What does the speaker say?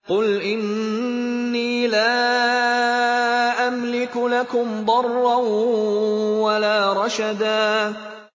قُلْ إِنِّي لَا أَمْلِكُ لَكُمْ ضَرًّا وَلَا رَشَدًا